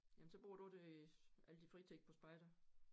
Jamen så bruger du det al din fritid på spejder?